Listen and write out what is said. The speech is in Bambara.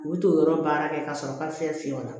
U bɛ t'o yɔrɔ baara kɛ ka sɔrɔ ka fɛn fiyɛ o la